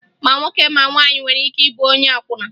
Ma nwoke ma nwaanyị nwere ike ịbụ onye akwụna